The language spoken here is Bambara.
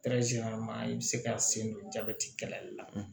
i bɛ se ka sen don jabɛti kɛlɛli la